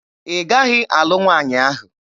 Ị gaghị alụ nwaanyị ahụ!